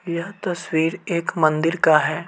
यह तस्वीर एक मंदिर का है।